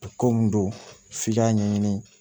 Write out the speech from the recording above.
Ko mun don f'i k'a ɲɛɲini